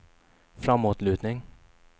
framåtlutning